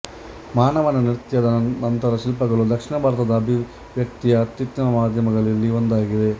ಮಾನವನ ನೃತ್ಯದ ನಂತರ ಶಿಲ್ಪಗಳು ದಕ್ಷಿಣ ಭಾರತದ ಅಭಿವ್ಯಕ್ತಿಯ ಅತ್ಯುತ್ತಮ ಮಾಧ್ಯಮಗಳಲ್ಲಿ ಒಂದಾಗಿದೆ